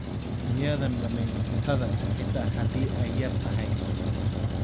Miyaadan dhamayn cuntada xitaa haddii ay yar tahay?